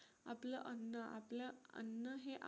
आपलं अन्न आपल्या अन्न हे